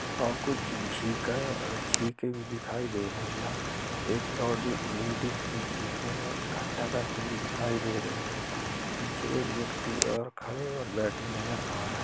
और कुछ झींका-झींके भी दिखाई दे रहे यहाँ एक लौडी-लेडीस जो झिंके में इकट्ठा करती हुई दिखाई दे रही है पीछे एक व्यक्ति और खड़े और बैठे नज़र आ--